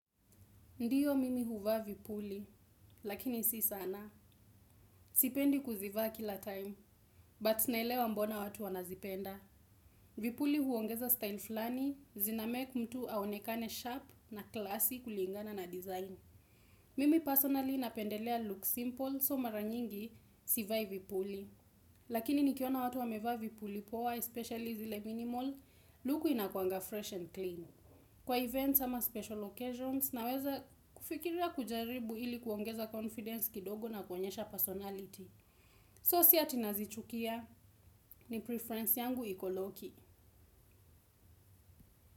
Ndiyo mimi huvaa vipuli, lakini si sana. Sipendi kuzivaa kila time, but ninaelewa mbona watu wanazipenda. Vipuli huongeza style fulani, zinamake mtu aonekane sharp na classyi kulingana na design. Mimi personally napendelea look simple, so mara nyingi sivai vipuli. Lakini nikiona watu wamevaa vipuli poa, especially zile minimal, luku inakuanga fresh and clean. Kwa events ama special occasions na weza kufikira kujaribu ili kuongeza confidence kidogo na kuonyesha personality. So si ati nazichukia ni preference yangu iko loki.